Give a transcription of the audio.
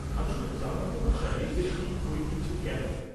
আমি শুধু জানতে উৎসাহী যে শিখ ঐতিহ্য কেমন।